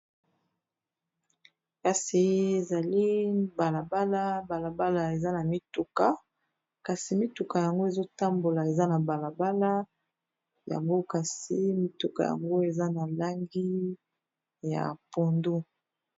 Kasi zalin balabala balabala eza na mituka kasi mituka yango ezotambola eza na balabala yango kasi mituka yango eza na langi ya pondo.